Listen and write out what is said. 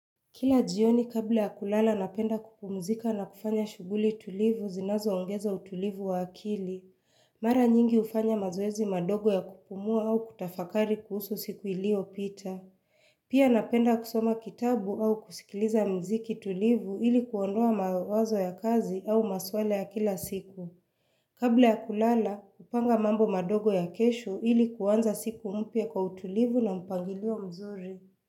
Kila jioni kabla ya kulala napenda kupumzika na kufanya shughuli tulivu zinazoongeza utulivu wa akili. Mara nyingi hufanya mazoezi madogo ya kupumua au kutafakari kuhusu siku iliyopita. Pia napenda kusoma kitabu au kusikiliza muziki tulivu ili kuondoa mawazo ya kazi au maswala ya kila siku. Kabla ya kulala, hupanga mambo madogo ya kesho ili kuanza siku mpya kwa utulivu na mpangilio mzuri.